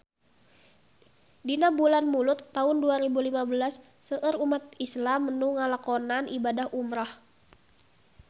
Dina bulan Mulud taun dua rebu lima belas seueur umat islam nu ngalakonan ibadah umrah